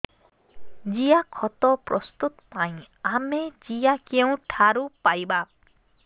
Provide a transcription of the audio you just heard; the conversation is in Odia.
ଜିଆଖତ ପ୍ରସ୍ତୁତ ପାଇଁ ଆମେ ଜିଆ କେଉଁଠାରୁ ପାଈବା